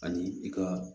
Ani i ka